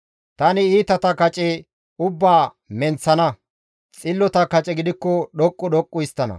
Tani iitata kace ubbaa menththana; xillota kace gidikko dhoqqu dhoqqu histtana.